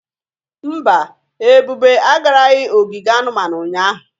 Mba, Ebube agaraghị ogige anumanu ụnyahụ.